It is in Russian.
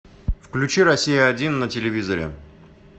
включи россия один на телевизоре